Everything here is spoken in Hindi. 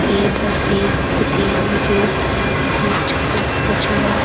यह तस्वीर किसी जू के मछवा मछुआ--